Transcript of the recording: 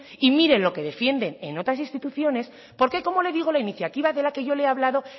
y mire lo que defienden en otras instituciones porque como le digo la iniciativa de la que yo le ha hablado